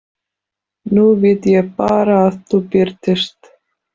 Nú vil ég bara að þú birtist.